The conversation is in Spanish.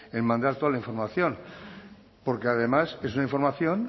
en mandar toda la información porque además es una información